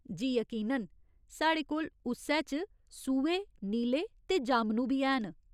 जी, यकीनन, साढ़े कोल उस्सै च सूहे, नीले ते जामनू बी हैन।